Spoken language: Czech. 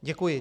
Děkuji.